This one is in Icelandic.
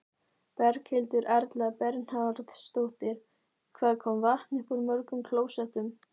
Berghildur Erla Bernharðsdóttir: Hvað kom vatn upp úr mörgum klósettum?